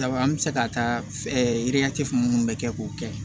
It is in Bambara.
Daba an bɛ se ka taa yiri fun minnu bɛ kɛ k'o kɛ